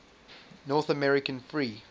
north american free